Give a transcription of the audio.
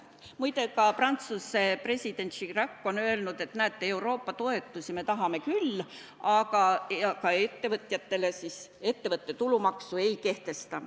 Muide, ka Prantsuse president Chirac on öelnud, et näete, Euroopa toetusi me tahame küll, aga ettevõtte tulumaksu ei kehtesta.